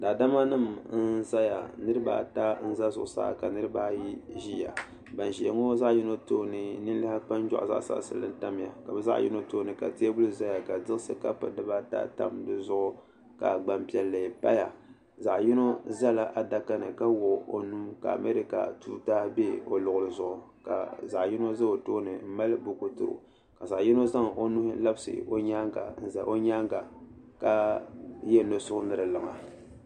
Daadama nima n zaya niriba ata n za zuɣusaa ka niriba ayi ʒia ban ʒia ŋɔ zaɣa yino tooni ninliha kpanjuaɣu zaɣa saɣasinli n tamya ka bɛ zaɣa yino tooni ka teebuli zaya ka tiɣisi kapu dibaata tam dizuɣu ka gbampiɛlli paya zaɣa yino zala adakani ka wuɣi o nuu ka amarika tuuta be o luɣuli zuɣu ka zaɣa yino za o tooni m mali buku tiri o ka zaɣa yino zaŋ o nuu labisi o nyaanga n za o nyaanga ka ye nosuɣu ni di liŋa.